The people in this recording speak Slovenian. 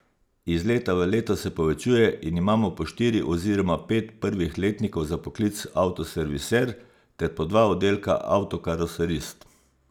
Iz leta v leto se povečuje in imamo po štiri oziroma pet prvih letnikov za poklic avtoserviser ter po dva oddelka avtokaroserist.